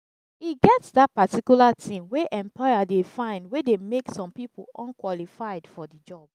e get that particular thing wey employer de find wey de make some pipo unqualified for the job